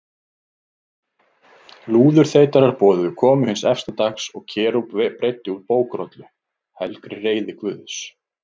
Lúðurþeytarar boðuðu komu hins efsta dags og Kerúb breiddi úr bókrollu, helgri reiði Guðs.